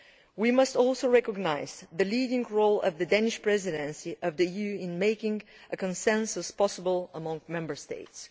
We must also recognise the leading role of the Danish Presidency of the EU in making a consensus possible among Member States.